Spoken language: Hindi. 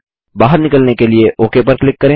बाहर निकलने के लिए ओक पर क्लिक करें